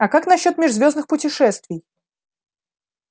а как насчёт межзвёздных путешествий